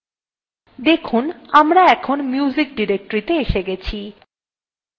এখন দেখুন আমরা music directory see see গেছি